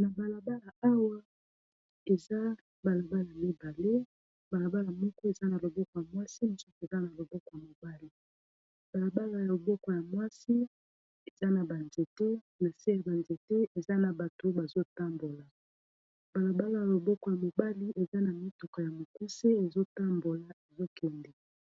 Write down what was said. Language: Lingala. Na balabala awa eza balabala mibale balabala moko eza na loboko ya mwasi mososi eza na loboko ya mobali balabala ya loboko ya mwsina ,se ya banzete eza na bato bazotambola balabala ya loboko ya mobali eza na mituka ya mokusi ezotambola ezokende